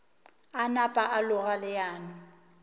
a napa a loga leano